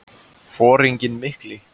Foringinn mikli.